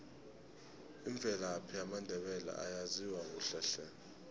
imvelaphi yamandebele ayaziwa kuhle hle